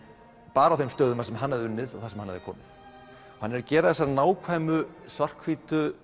bara á þeim stöðum þar sem hann hafði unnið og þar sem hann hafði komið hann er að gera þessar nákvæmu svarthvítu